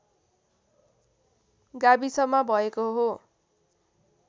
गाविसमा भएको हो